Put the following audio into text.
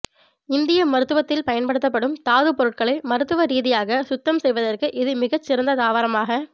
இந்திய மருத்துவத்தில் பயன்படுத்தப்படும் தாதுப் பொருட்களை மருத்துவ ரீதியாக சுத்தம் செய்வதற்கு இது மிகச் சிறந்த தாவரமாக